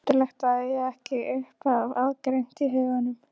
Undarlegt að eiga ekki upphafið aðgreint í huganum.